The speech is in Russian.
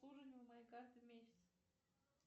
обслуживание моей карты в месяц